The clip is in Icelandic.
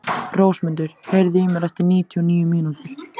Rósmundur, heyrðu í mér eftir níutíu og níu mínútur.